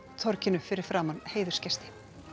torginu fyrir framan heiðursgesti